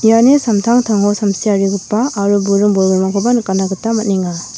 iani samtangtango samsiarigipa aro buring bolgrimrangkoba nikatna gita man·enga.